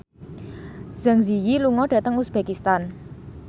Zang Zi Yi lunga dhateng uzbekistan